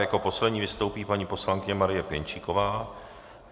Jako poslední vystoupí paní poslankyně Marie Pěnčíková.